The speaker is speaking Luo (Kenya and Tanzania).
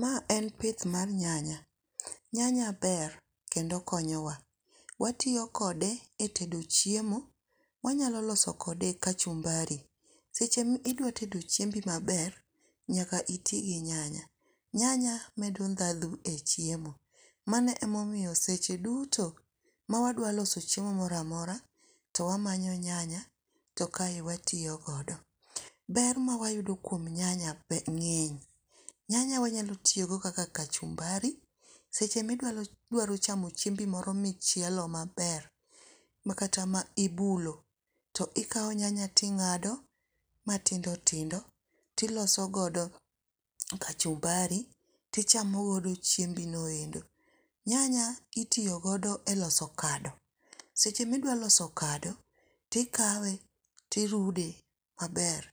Mae en pith mar nyanya, nyanya ber kendo okonyowa, watiyo kode e tedo chiemo, wanyalo loso kode kachumbari, seche mi idwa tedo chiembi maber nyaka iti gi nyanya, nyanya medo ndatho e chiemo, mano emomiyo seche duto ma wadwaloso chiemo mora mora to wamanyo nyanya to kae watiyo kode, ber mawayudo kuom nyanya ng'eny, nyanya wanyalo tiyogo kaka kachumbari, seche midwaro chamo chiembi moro michielo maber ma kata ma ibulo to ikawo nyanya ting'ado matindo tindo tiloso godo kachumbari tichamo godo chiembi noendo. Nyanya itiyo godo e loso kado, seche midwaro loso kado tikawe tirude maber